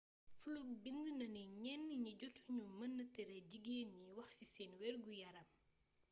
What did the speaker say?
fluke bind na ni ñenn ñi jotu ñu mëna tere jigeen ñi wax ci seen wergu-yaram